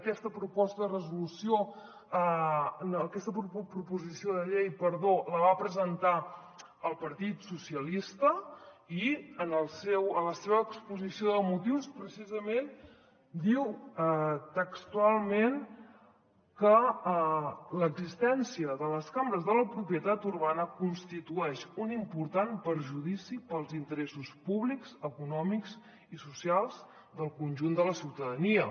aquesta proposició de llei la va presentar el partit socialista i en la seva exposició de motius precisament diu textualment que l’existència de les cambres de la propietat urbana constitueix un important perjudici pels interessos públics econòmics i socials del conjunt de la ciutadania